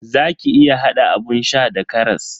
Zaki iya hada abun sha da karas.